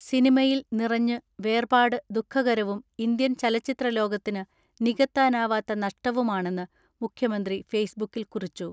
സിനിമയിൽ നിറഞ്ഞു വേർപാട് ദുഃഖകരവും ഇന്ത്യൻ ചലച്ചിത്രലോകത്തിന് നികത്താനാവാത്ത നഷ്ടവുമാണെന്ന് മുഖ്യമന്ത്രി ഫേസ്ബുക്കിൽ കുറിച്ചു.